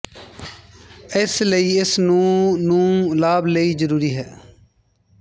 ਇਸ ਲਈ ਇਸ ਨੂੰ ਨੂੰ ਲਾਭ ਲਈ ਜ਼ਰੂਰੀ ਹੈ